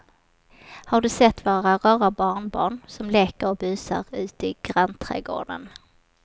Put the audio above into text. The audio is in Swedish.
Har du sett våra rara barnbarn som leker och busar ute i grannträdgården!